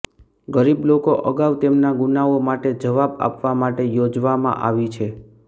ગરીબ લોકો અગાઉ તેમના ગુનાઓ માટે જવાબ આપવા માટે યોજવામાં આવી છે